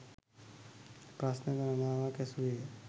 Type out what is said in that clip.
ප්‍රශ්න ගණනාවක් ඇසුවේය